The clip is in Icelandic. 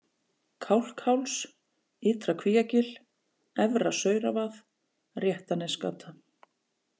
Kálkháls, Ytra-Kvíagil, Efra-Sauravað, Réttanesgata